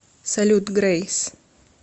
салют грейс